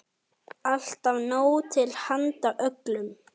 Alltaf nóg til handa öllum.